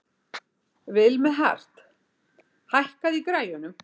Vilmenhart, hækkaðu í græjunum.